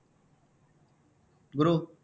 குரு